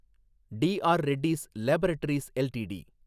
TR Reddy's laboratories LTD